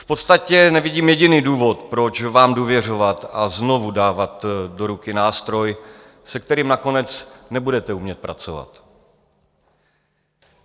V podstatě nevidím jediný důvod, proč vám důvěřovat a znovu dávat do ruky nástroj, se kterým nakonec nebudete umět pracovat.